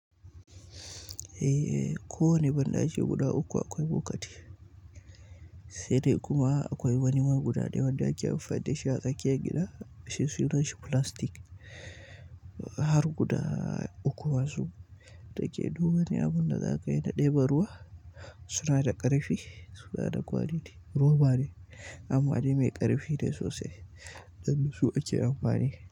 Eh, kowane banɗaki guda uku akwai bokati sai dai kuma akwai wani ma guda ɗaya wanda ake amfani dashi a tsakiyar gida, shi suna shi plastic har guda uku masu, da ke duk wani abun da za ka yi na ɗebo ruwa. Suna da ƙarfi, suna da kwari roba ne. Amma dai mai ƙarfi ne sosai. Da su ake amfani.